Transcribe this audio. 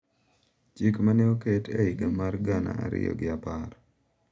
Chik ma ne oket e higa mar gana ariyo gi apar